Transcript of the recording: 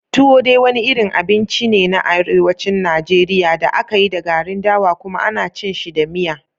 Tuwo dai wani abinci ne na Arewacin Najeriya da aka yi da garin dawa kuma ana cin shi da miya.